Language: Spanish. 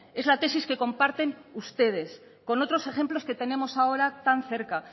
es la tesis que comparten ustedes con otros ejemplos que tenemos ahora tan cerca